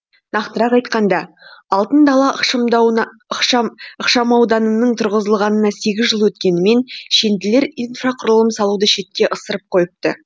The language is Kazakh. нақтырақ айтқанда алтын дала ықшамауданының тұрғызылғанына сегіз жыл өткенімен шенділер инфрақұрылым салуды шетке ысырып қойыпты